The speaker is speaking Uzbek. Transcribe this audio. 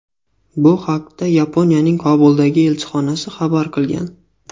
Bu haqda Yaponiyaning Kobuldagi elchixonasi xabar qilgan .